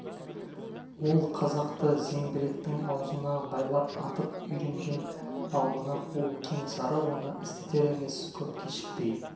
ол қазақты зеңбіректің аузына байлап атып үйренген ал мына қу кенесары оны істетер емес көп кешікпей